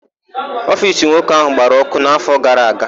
Ofiisi nwoke áhụ̀ gbara ọ́kụ́ n'áfọ gara aga.